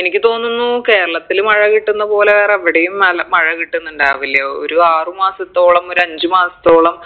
എനിക്ക് തോന്നുന്നു കേരളത്തില് മഴ കിട്ടുന്ന പോലെ വേറെവിടെയും നല്ല മഴ കിട്ടുന്നുണ്ടാവില്ല ഒരു ആറ് മാസത്തോളം ഒരഞ്ചു മാസത്തോളം